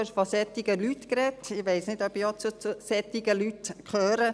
Ich weiss nicht, ob ich auch zu «solchen Leuten» gehöre.